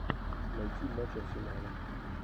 найти матч арсенала